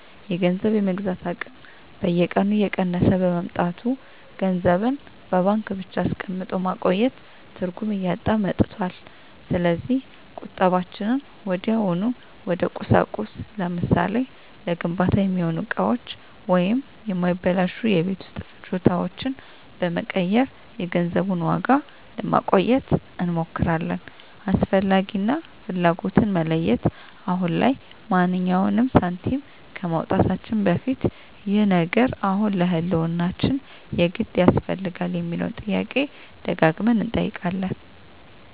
የገንዘብ የመግዛት አቅም በየቀኑ እየቀነሰ በመምጣቱ፣ ገንዘብን በባንክ ብቻ አስቀምጦ ማቆየት ትርጉም እያጣ መጥቷል። ስለዚህ ቁጠባችንን ወዲያውኑ ወደ ቁሳቁስ (ለምሳሌ፦ ለግንባታ የሚሆኑ እቃዎች ወይም የማይበላሹ የቤት ውስጥ ፍጆታዎች) በመቀየር የገንዘቡን ዋጋ ለማቆየት እንሞክራለን። "አስፈላጊ" እና "ፍላጎት"ን መለየት፦ አሁን ላይ ማንኛውንም ሳንቲም ከማውጣታችን በፊት "ይህ ነገር አሁን ለህልውናችን የግድ ያስፈልጋል?" የሚለውን ጥያቄ ደጋግመን እንጠይቃለን።